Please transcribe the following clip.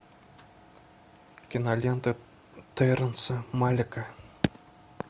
кинолента терренса малика